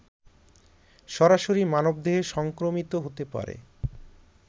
সরাসরি মানবদেহে সংক্রমিত হতে পারে